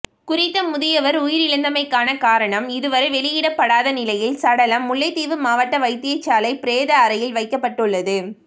குறித்த முதியவர் உயிரிழந்தமைக்காண காரணம் இதுவரை வெளியிடப்படாத நிலையில் சடலம் முல்லைத்தீவு மாவட்ட வைத்தியசாலை பிரேத அறையில் வைக்கப்பட்டுள்ளது